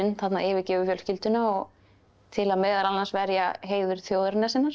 yfirgefur fjölskylduna til að meðal annars verja heiður þjóðarinnar sinnar